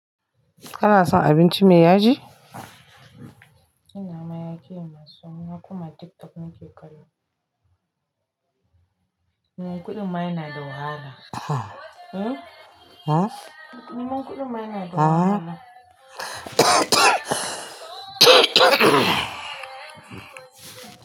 Kana son abinci mai yaji? Ina mayaki masun, ina kuma TikTok nake kallo. Neman kuɗin mayana da wahala. Aha Eh? Eh. Min kuɗin mayana da wahala.